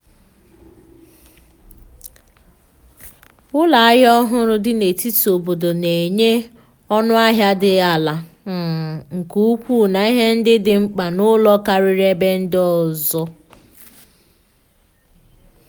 ụlọ ahịa ọhụrụ dị n’etiti obodo na-enye ọnụahịa dị ala um nke ukwuu na ihe ndị dị mkpa n’ụlọ karia ebe ndị ọzọ.